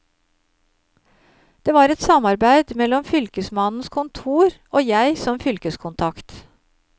Det var et samarbeid mellom fylkesmannens kontor og jeg som fylkeskontakt.